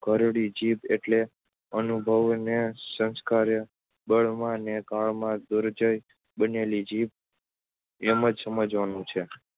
ઘરડી જીભ એટલે અનુભવે ને સંસ્કારે, બળમાં ને કળમાં દુર્જેય બનેલી જીભ એમ જ સમજવાનું છે.